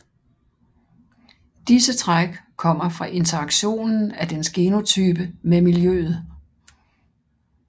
Disse træk kommer fra interaktionen af dens genotype med miljøet